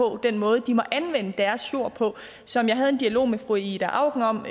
den måde de må anvende deres jord på som jeg havde en dialog med fru ida auken om